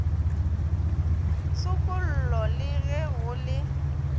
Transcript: tshokollo le ge go le